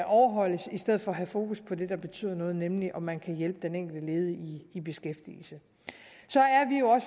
overholdes i stedet for at have fokus på det der betyder noget nemlig om man kan hjælpe den enkelte ledige i beskæftigelse så